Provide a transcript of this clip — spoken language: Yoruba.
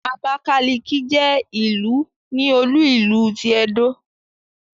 Abákálíkí jẹ́ ìlú ní olú ìlú ti Ẹdó